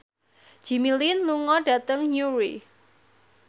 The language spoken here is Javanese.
Jimmy Lin lunga dhateng Newry